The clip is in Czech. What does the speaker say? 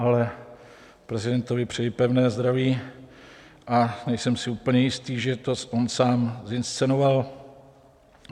Ale prezidentovi přeji pevné zdraví a nejsem si úplně jist, že to on sám zinscenoval.